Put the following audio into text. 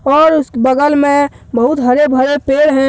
और उसके बगल मे बहुत हरे भरे पेड़ है।